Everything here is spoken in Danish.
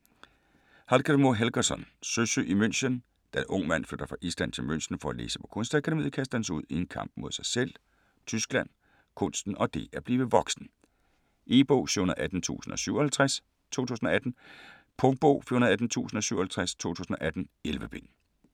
Hallgrímur Helgason: Søsyg i München Da Ung Mand flytter fra Island til München for at læse på Kunstakademiet, kastes han ud i en kamp med sig selv, Tyskland, kunsten og det at blive voksen. E-bog 718057 2018. Punktbog 418057 2018. 11 bind.